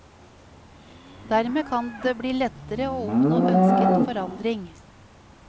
Dermed kan det bli lettere å oppnå ønsket forandring.